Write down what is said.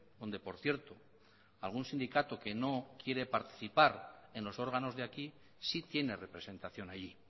donde por cierto algún sindicato que no quiere participar en los órganos de aquí sí tiene representación allí